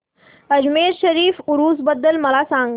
अजमेर शरीफ उरूस बद्दल मला सांग